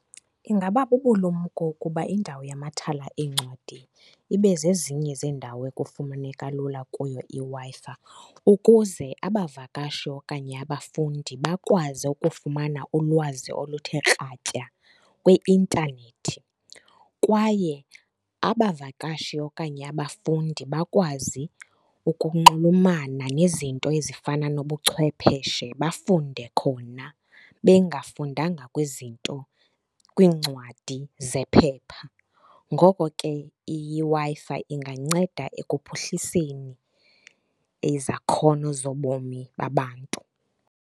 Ingaba bubulumko ukuba indawo yamathala eencwadi ibe zezinye zeendawo ekufumaneka lula kuyo iWi-Fi, ukuze abavakashi okanye abafundi bakwazi ukufumana ulwazi oluthe kratya kwiintanethi. Kwaye abavakashi okanye abafundi bakwazi ukunxulumana nezinto ezifana nobuchwepheshe, bafunde khona bengafundanga kwizinto, kwincwadi zephepha. Ngoko ke iWi-Fi inganceda ekuphuhliseni izakhono zobomi babantu.